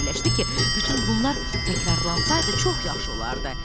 Fikirləşdi ki, bütün bunlar təkrarlansaydı çox yaxşı olardı.